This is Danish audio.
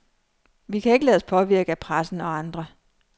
Vi kan ikke lade os påvirke af pressen og andre.